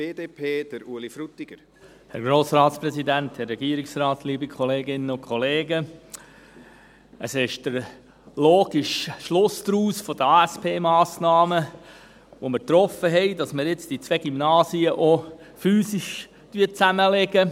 Es ist der logische Schluss aus den ASP-Massnahmen, die wir getroffen haben, dass man jetzt diese beiden Gymnasien auch physisch zusammenlegt.